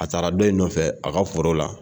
A taara dɔ in nɔfɛ a ka foro la